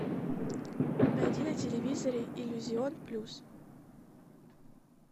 найди на телевизоре иллюзион плюс